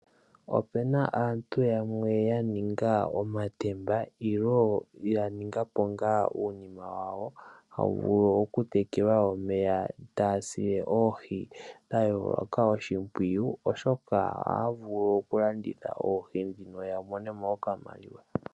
Opena aantu yamwe ya ninga omatemba ilo ya ninga po ngaa uunima wawo hawu vulu oku tekelwa omeya, taya sile oohi dha yooloka oshimpwiyu oshoka ohaa vulu okulanditha oohi ndhino ya mone mo okamaliwa.